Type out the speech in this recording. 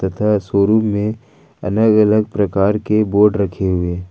तथा शोरूम में अलग अलग प्रकार के बोर्ड रखे हुए --